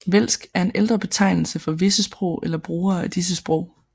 Vælsk er en ældre betegnelse for visse sprog eller brugere af disse sprog